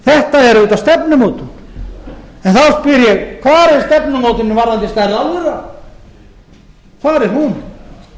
þetta er auðvitað stefnumótun þá spyr ég hvar er stefnumótunin varðandi stærð álvera hvar er hún